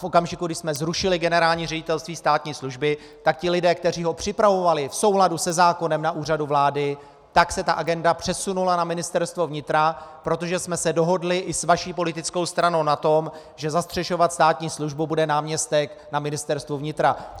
V okamžiku, kdy jsme zrušili Generální ředitelství státní služby, tak ti lidé, kteří ho připravovali v souladu se zákonem na Úřadu vlády, tak se ta agenda přesunula na Ministerstvo vnitra, protože jsme se dohodli i s vaší politickou stranou na tom, že zastřešovat státní službu bude náměstek na Ministerstvu vnitra.